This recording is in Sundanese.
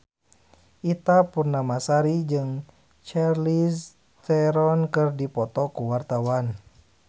Ita Purnamasari jeung Charlize Theron keur dipoto ku wartawan